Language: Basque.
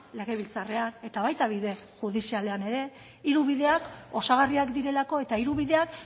legebiltzarrean eta baita bide judizialean ere hiru bideak osagarriak direlako eta hiru bideak